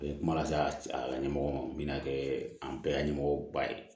A ye kuma lase a ka ɲɛmɔgɔ ma n bɛna kɛ an bɛɛ ɲɛmɔgɔ ba ye